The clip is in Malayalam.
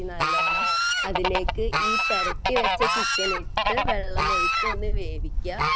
നല്ലോണം അതിലേക്ക് ഈ പുരട്ടി വച്ച ചിക്കൻ ഇട്ട് വെള്ളമൊഴിച്ചു ഒന്ന് വേവിക്കുക